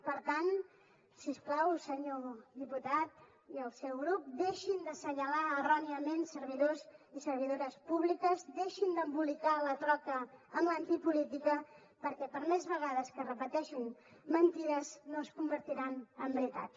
per tant si us plau senyor diputat i el seu grup deixin d’assenyalar erròniament servidors i servidores públiques deixin d’embolicar la troca amb l’antipolítica perquè per més vegades que repeteixin mentides no es convertiran en veritat